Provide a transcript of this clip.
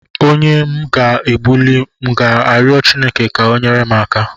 Onye m ga egbuli, m ga-arịọ Chineke ka o nyere m aka?